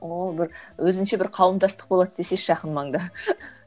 ооо бір өзінше бір қауымдастық болады десеңші жақын маңда